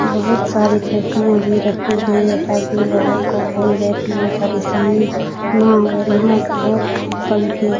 बहुत सारी कुर्सियाँ रखी गई हैं ताकि लोगों को कोई बैठने में कोई परेशानी ना हो यहाँ पंखे --